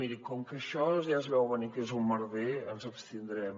mirin com que això ja es veu a venir que és un merder ens abstindrem